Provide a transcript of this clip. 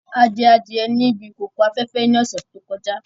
A jẹ adie ní ibi ìkòkò afẹ́fẹ́ ní ọ̀sẹ̀ tó kọjá.